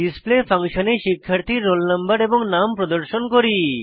display ফাংশনে শিক্ষার্থীর roll no এবং নাম প্রদর্শন করি